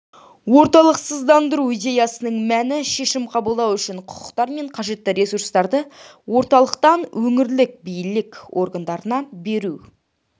орталықсыздандыру идеясының мәні шешім қабылдау үшін құқықтар мен қажетті ресурстарды орталықтан өңірлік билік органдарына беру